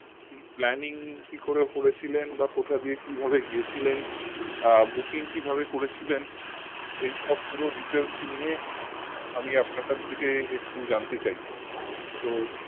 planning কি করে করেছিলেন বা কোথা দিয়ে কি ভাবে গিয়ে ছিলেন আহ booking কিভাবে করেছিলেন এই সব পুরো details নিয়ে আমি আপনার কাছ থেকে একটু জানতে চাই তো